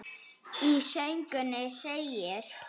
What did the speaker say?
Í sögunni segir: